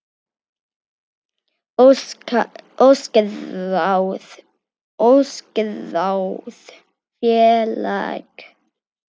Óskráð félag.